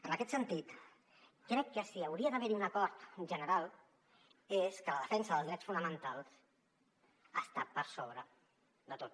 en aquest sentit crec que si hauria d’haver un acord general és que la defensa dels drets fonamentals està per sobre de tot